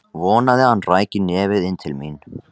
Vonaði að hann ræki nefið inn til mín.